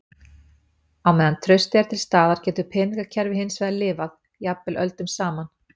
Á meðan traustið er til staðar getur peningakerfi hins vegar lifað, jafnvel öldum saman.